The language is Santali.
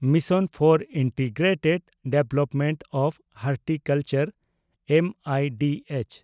mission for integrated development of horticulture M I D H)